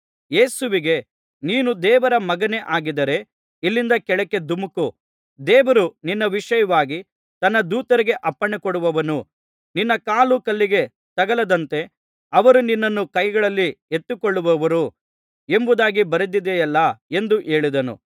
ಯೇಸುವಿಗೆ ನೀನು ದೇವರ ಮಗನೇ ಆಗಿದ್ದರೆ ಇಲ್ಲಿಂದ ಕೆಳಕ್ಕೆ ದುಮುಕು ದೇವರು ನಿನ್ನ ವಿಷಯವಾಗಿ ತನ್ನ ದೂತರಿಗೆ ಅಪ್ಪಣೆಕೊಡುವನು ನಿನ್ನ ಕಾಲು ಕಲ್ಲಿಗೆ ತಗಲದಂತೆ ಅವರು ನಿನ್ನನ್ನು ಕೈಗಳಲ್ಲಿ ಎತ್ತಿಕೊಳ್ಳುವರು ಎಂಬುದಾಗಿ ಬರೆದಿದೆಯಲ್ಲಾ ಎಂದು ಹೇಳಿದನು